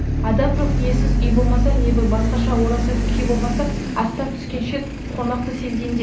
адам жоқ иесіз үй болмаса не бір басқаша орасан күй болмаса аттан түскен шет қонақты сезгенде